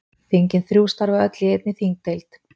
Þingin þrjú starfa öll í einni þingdeild.